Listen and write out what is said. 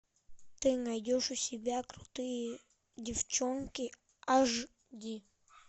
ты найдешь у себя крутые девчонки аш ди